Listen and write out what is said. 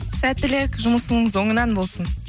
сәттілік жұмысыңыз оңынан болсын